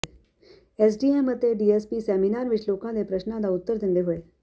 SDM ਅਤੇ DSP seminar ਵਿੱਚ ਲੋਕਾਂ ਦੇ ਪ੍ਰਸ਼ਨਾਂ ਦਾ ਉਤਰ ਦਿੰਦੇ ਹੋਏ